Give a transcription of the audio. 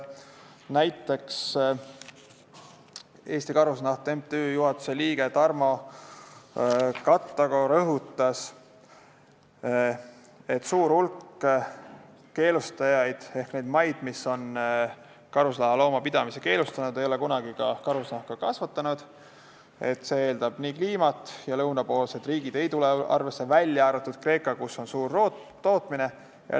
Näiteks rõhutas Eesti Karusnahaliit MTÜ liige Tarmo Kattago, et suur hulk keelustajaid ehk neid maid, mis on karusloomade pidamise keelustanud, ei ole kunagi karusloomi kasvatanud, sest see eeldab sobivat kliimat ja lõunapoolsed riigid ei tule siin arvesse, välja arvatud Kreeka, kus on suur tootmine.